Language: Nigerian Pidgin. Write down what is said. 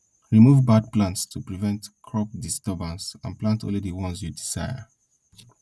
remove bad plants to prevent crop disturbance and plant only the ones you desire